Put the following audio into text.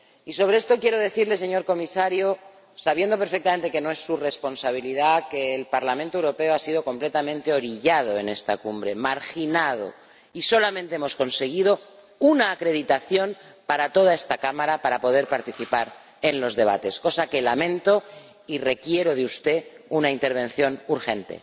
Y sobre esto quiero decirle, señor Comisario, sabiendo perfectamente que no es su responsabilidad, que el Parlamento Europeo ha sido completamente orillado en esta cumbre, marginado, y solamente hemos conseguido una acreditación para toda esta Cámara para poder participar en los debates, cosa que lamento y respecto de la cual requiero de usted una intervención urgente.